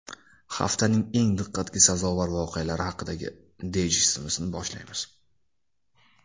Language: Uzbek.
Haftaning eng diqqatga sazovor voqealari haqidagi dayjestimizni boshlaymiz.